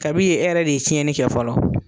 Kabi yen, e yɛrɛ de ye tiɲɛnni kɛ fɔlɔ.